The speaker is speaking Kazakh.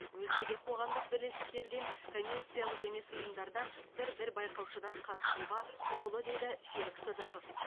өзге де қоғамдық бірлестіктерден коммерциялық емес ұйымдардан бір бір байқаушыдан қатысуға құқылы деді серік сыдықов